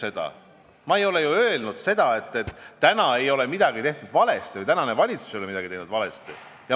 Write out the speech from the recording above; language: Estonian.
Ma ju ei ole öelnud, et praegu ei ole midagi valesti tehtud või tänane valitsus ei ole midagi valesti teinud.